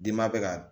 Dama bɛ ka